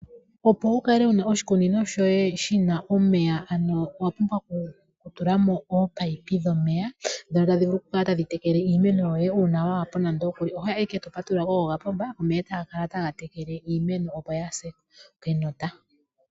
opo wukale wuna oshikunino shoye shina omeya, ano owapumbwa ku tulamo ominino dhomeya ndhono tadhi vulu oku kala tadhi tekela iimeno yoye uuna waapo, oho yi ashike eto patulula kopomba omeye eta ga kala ta ga tekele iimeno opo kaa yi se kenota.